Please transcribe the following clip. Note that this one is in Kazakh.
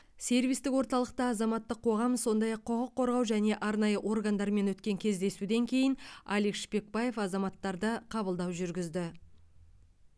сервистік орталықта азаматтық қоғам сондай ақ құқық қорғау және арнайы органдармен өткен кездесуден кейін алик шпекбаев азаматтарды қабылдау жүргізді